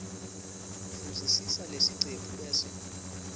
fundzisisa leticephu bese